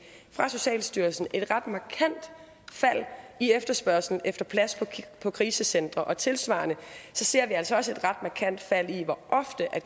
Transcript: fra socialstyrelsen et ret markant fald i efterspørgslen efter pladser på krisecentre og tilsvarende ser vi altså også et ret markant fald i hvor ofte